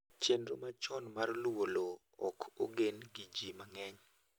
chenro machon mar luwo lowo ok ogen gi ji mang'eny